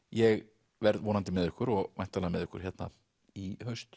ég verð vonandi með ykkur og væntanlega með ykkur hérna í haust